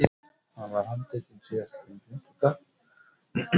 Hann var handtekinn síðastliðinn fimmtudag